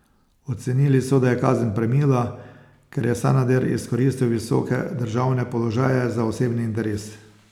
Ocenili so, da je kazen premila, ker je Sanader izkoristil visoke državne položaje za osebni interes.